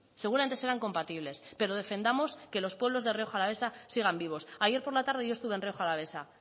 seguramente serán compatibles pero defendamos que los pueblos de rioja alavesa sigan vivos ayer por la tarde yo estuve en rioja alavesa